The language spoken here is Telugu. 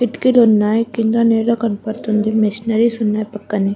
కిటికీలు ఉన్నాయ్ కింద నేలా కనబడుతుంది. మెషినరీస్ ఉన్నాయి. పక్కనే --